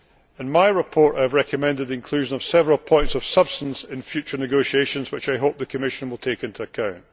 EPA. In my report, I have recommended the inclusion of several points of substance in future negotiations, which I hope the Commission will take into